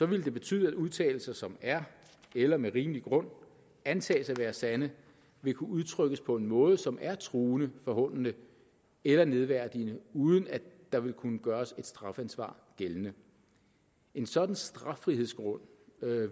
ville det betyde at udtalelser som er eller med rimelig grund antages at være sande vil kunne udtrykkes på en måde som er truende forhånende eller nedværdigende uden at der vil kunne gøres et strafansvar gældende en sådan straffrihedsgrund